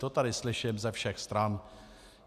To tady slyším ze všech stran.